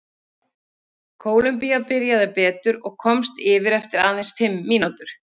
Kólumbía byrjaði betur og komst yfir eftir aðeins fimm mínútur.